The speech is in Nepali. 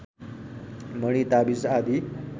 मणि ताबिज आदि